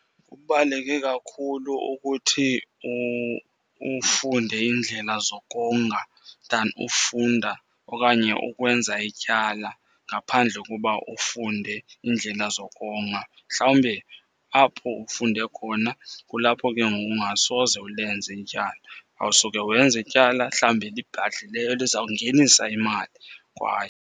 Kubaluleke kakhulu ukuthi ufunde iindlela zokonga than ufunda okanye ukwenza ityala ngaphandle koba ufunde iindlela zokonga. Mhlawumbe apho ufunde khona kulapho ke ngoku ungasoze ulenze ityala. Uyawusuke wenze ityala hlambi elibhadlileyo elizawungenisa imali kwaye.